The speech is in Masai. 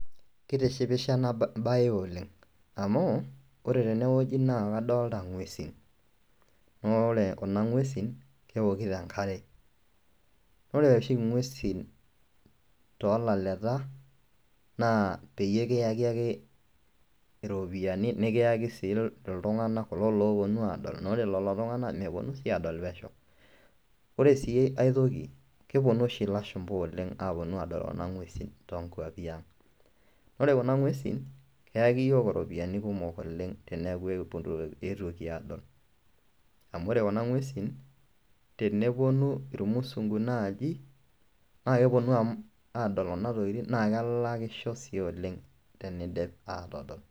Kitishipisho enabae oleng amu ore tenewueji na kadolta ngwesin, amu ore kuna ngwesi na kemokito enkare, ore oshi ngwesi tolaleta na peyie kiyaki ake ropiyani, kulo oponu adol ,ore si aitoki keponu oshu lashumba aponu adol ngwesi tonkwapi aang, ore kuna ngwesi keyaki yiok ropiyani kumok teneaku eetuoki adol amu ore kunangwesi teneponu rmusungu naai na keponu amu adol na kelakisho si oleng teneidip atadol.